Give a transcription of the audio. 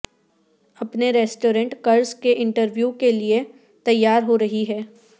اپنے ریسٹورانٹ قرض کے انٹرویو کے لئے تیار ہو رہی ہے